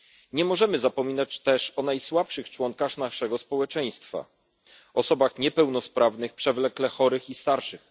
Nie możemy zapominać też o najsłabszych członkach naszego społeczeństwa osobach niepełnosprawnych, przewlekle chorych i starszych.